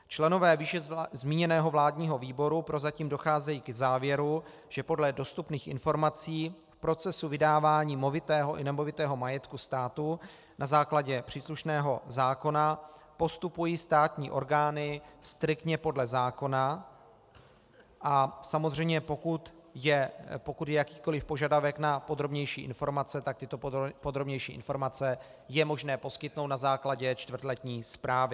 Členové výše zmíněného vládního výboru prozatím docházejí k závěru, že podle dostupných informací v procesu vydávání movitého i nemovitého majetku státu na základě příslušného zákona postupují státní orgány striktně podle zákona, a samozřejmě pokud je jakýkoliv požadavek na podrobnější informace, tak tyto podrobnější informace je možné poskytnout na základě čtvrtletní zprávy.